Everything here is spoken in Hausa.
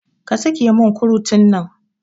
Ka sake mun kurutun nan